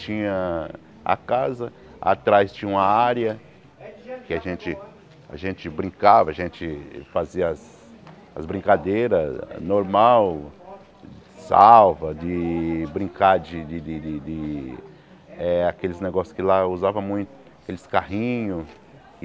Tinha a casa, atrás tinha uma área que a gente a gente brincava, a gente fazia as as brincadeiras normal, salva, de brincar de de de de eh aqueles negócios que lá usava muito, aqueles carrinhos.